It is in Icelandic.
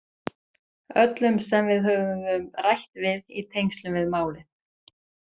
Öllum sem við höfum rætt við í tengslum við málið.